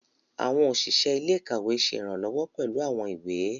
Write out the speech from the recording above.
Awọn oṣiṣẹ ilé-ìkawe ṣe iranlọwọ pẹlu awọn ìwé.